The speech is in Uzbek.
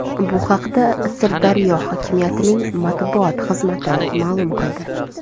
Bu haqda Sirdaryo hokimiyatining matbuot xizmati ma’lum qildi .